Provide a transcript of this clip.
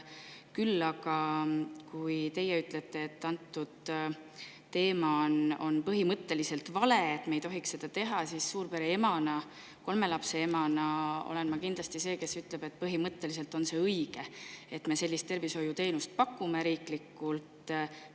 Küll aga, kui teie ütlete, et see on põhimõtteliselt vale ja me ei tohiks seda teha, siis suurpere emana, kolme lapse emana ma ütlen, et on õige, et me sellist tervishoiuteenust riiklikult pakume.